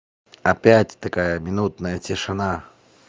опять такая минутная тишина